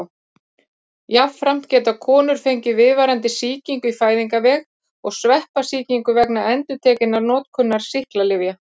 Jafnframt geta konur fengið viðvarandi sýkingu í fæðingarveg og sveppasýkingu vegna endurtekinnar notkunar sýklalyfja.